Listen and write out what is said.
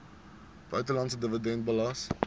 buitelandse dividend belas